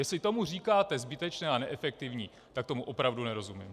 Jestli tomu říkáte zbytečná a neefektivní, tak tomu opravdu nerozumím.